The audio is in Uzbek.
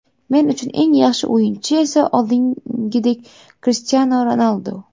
Men uchun eng yaxshi o‘yinchi esa oldingidek Krishtianu Ronaldu.